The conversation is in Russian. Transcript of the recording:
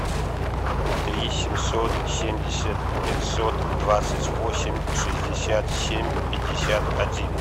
три семьсот семьдесят пятьсот двадцать восемь шестьдесят семь пятьдесят один